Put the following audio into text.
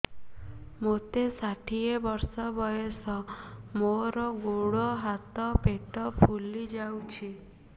ମୋତେ ଷାଠିଏ ବର୍ଷ ବୟସ ମୋର ଗୋଡୋ ହାତ ପେଟ ଫୁଲି ଯାଉଛି